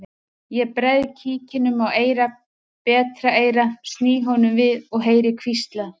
Ég bregð kíkinum á eyrað betra eyrað sný honum við og heyri hvíslað